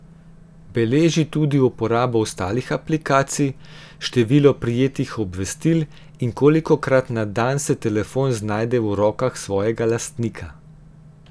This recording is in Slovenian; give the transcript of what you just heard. Beleži tudi uporabo ostalih aplikacij, število prejetih obvestil in kolikokrat na dan se telefon znajde v rokah svojega lastnika.